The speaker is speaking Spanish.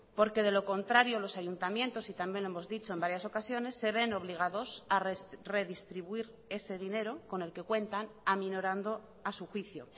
porque de lo contrario los ayuntamientos y también lo hemos dicho en varias ocasiones se ven obligados a redistribuir ese dinero con el que cuentan aminorando a su juicio